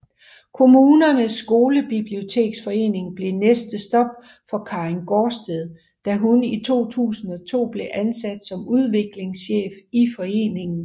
Kommunernes Skolebiblioteksforening blev næste stop for Karin Gaardsted da hun i 2002 blev ansat som udviklingschef i foreningen